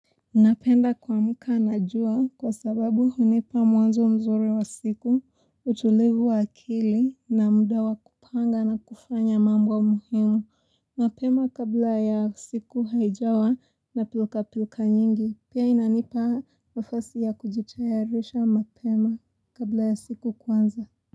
Napenda kuamka na jua kwa sababu hunipa mwanzo mzuri wa siku, utulivu wa akili na muda wa kupanga na kufanya mambo muhimu. Mapema kabla ya siku haijawa na pilka pilka nyingi. Pia inanipa nafasi ya kujitayarisha mapema kabla ya siku kuanza.